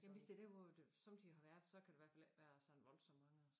Jamen hvis det dér hvor det sommetider har været så kan der i hvert fald ikke være sådan voldsomt mange